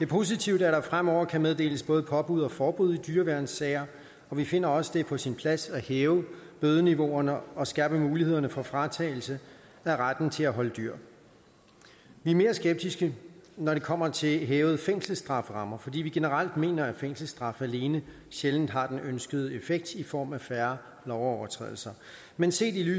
positivt at der fremover kan meddeles både påbud og forbud i dyreværnssager og vi finder også at det er på sin plads at hæve bødeniveauerne og skærpe mulighederne for fratagelse af retten til at holde dyr vi er mere skeptiske når det kommer til hævede strafferammer fordi vi generelt mener at fængselsstraf alene sjældent har den ønskede effekt i form af færre lovovertrædelser men set i